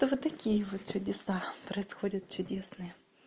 то вот такие вот чудеса происходят чудесные